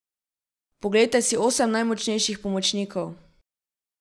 Poglejte si osem najmočnejših pomočnikov.